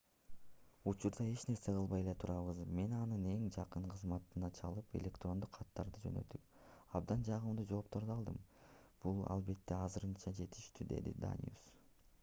учурда эч нерсе кылбай эле турабыз мен анын эң жакын кызматташына чалып электрондук каттарды жөнөттүп абдан жагымдуу жоопторду алдым бул албетте азырынча жетиштүү - деди даниус